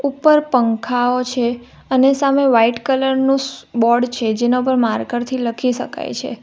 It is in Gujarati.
ઉપર પંખાઓ છે અને સામે વાઈટ કલર નું બોર્ડ છે જેના ઉપર માર્કર થી લખી શકાય છે.